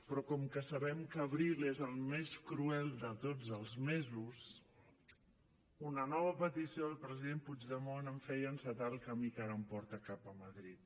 però com que sabem que abril és el més cruel de tots els mesos una nova petició del president puigdemont em feia encetar el camí que ara em porta cap a madrid